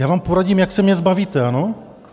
Já vám poradím, jak se mě zbavíte, ano?